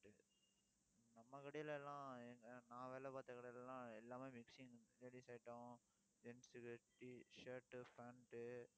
நம்ம கடையில எல்லாம் நான் வேலை பார்த்த கடையில எல்லாம் எல்லாமே mixing ladies item, gents T shirt, pant